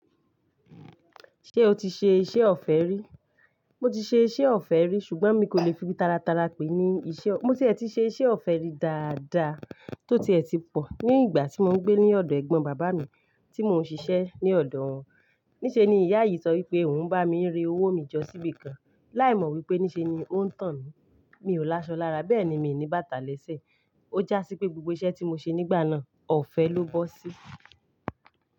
Ṣé o ti ṣe iṣẹ́ ọ̀fẹ́ rí? Mo ti ṣe iṣẹ́ ọ̀fẹ́ rí ṣùgbọ́n mi kò lè fi bíi taratara pé ní iṣẹ́. Mo tiẹ̀ ti ṣe iṣẹ́ ọ̀fẹ́ rí dáadáa tó tiẹ̀ ti pọ̀ ní ìgbà tí mò ń gbé ní ọ̀dọ̀ ẹ̀gbọ́n bàbá mi tí mò ń ṣiṣẹ́ ní ọ̀dọ̀ wọn. Níṣe ni ìyá yìí sọ wípé òun bá mi rẹ owó mi jọ síbi kan, láì mọ̀ wípé níṣe ni ó ń tàn mí. Mi ò lásan lára, bẹ́ẹ̀ ni mi ò ní bàtà léṣẹ́. Ó jásí pé gbogbo iṣẹ́ tí mo ṣe nígbà náà ọ̀fẹ́ ló bọ́ sí.